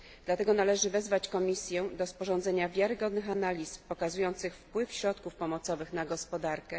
Dlatego należy wezwać Komisję do sporządzenia wiarygodnych analiz pokazujących wpływ środków pomocowych na gospodarkę.